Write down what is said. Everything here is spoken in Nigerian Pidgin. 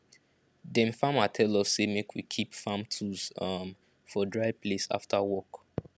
dem farmer tell us say make we keep farm tools um for dry place after work